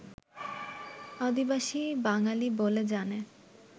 আদিবাসী বাঙালি বলে জানে